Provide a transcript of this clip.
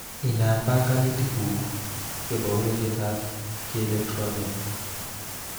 Inam banganutik ngu chebo ureretab kieletronia